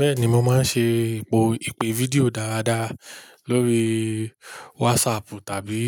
Bẹ́ẹ̀ni, mo máa ń ṣe ìpè fídíò dáadáa lórí WhatsApp tàbí